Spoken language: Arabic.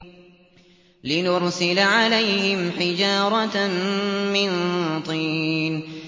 لِنُرْسِلَ عَلَيْهِمْ حِجَارَةً مِّن طِينٍ